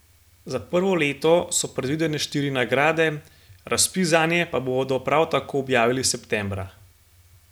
Za prvo leto so predvidene štiri nagrade, razpis zanje bodo prav tako objavili septembra.